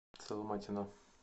соломатина